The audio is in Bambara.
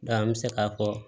an bɛ se k'a fɔ